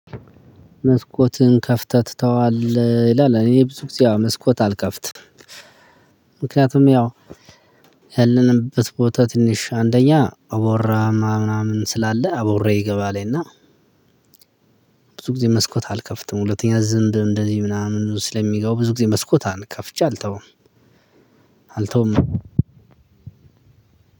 መስኮትን ከፍተህ ትተዋለህ? ይላል እኔ ብዙ ጊዜ መስኮት አልከፍትም፤ ምክንያቱም ያው ያለንበት ቦታ ትንሽ አንደኛ አቦራ ምናምን ስላለ አቦራ ይገባል እና ብዙ ጊዜ መስኮት አልከፍትም ሁለተኛ ዝምብ እንደዚህ ምናምን ስለሚገቡ ብዙ ጊዜ መስኮት ከፍቼ አልተውም፤ አልተውም